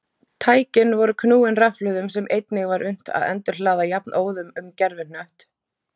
Tækin voru knúin rafhlöðum sem einnig var unnt að endurhlaða jafnóðum um gervihnött.